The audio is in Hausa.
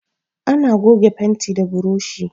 Ana goga fenti da buroshi.